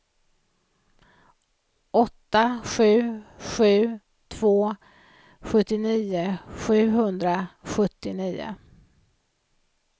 åtta sju sju två sjuttionio sjuhundrasjuttionio